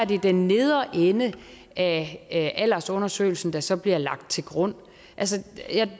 det den nedre ende af aldersundersøgelsen der så bliver lagt til grund altså